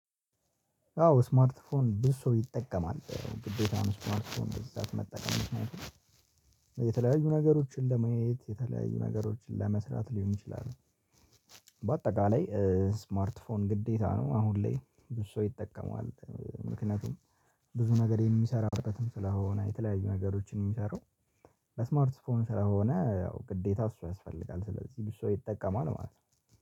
አዎ ስማርት ፎን ብዙ ሰው ይጠቀማል። ግዴታ ነው ስማርት ፎን በዚህ ሰዓት መጠቀም። የተለያዩ ነገሮችን ለመየት፤ የተለያዩ ነገሮችን ለመስራት ሊሆን ይችላል። በአጠቃላይ ስማርት ስልክ ግዴታ ነው አሁን ላይ ብዙ ሰው ይጠቀማል ምክንያቱም ብዙ ነገር የሚሰራው ስለሆነ የተለያዩ ነገሮችን የሚሰራው ለስማርት ፎንም ስለሆነ ያው ግዴታ እሱ ያስፈልጋል። ስለዚህ ብዙ ሰው ይጠቀማል ማለት ነው።